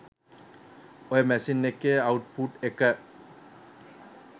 ඔය මැෂින් එකේ අවුට්පුට් එක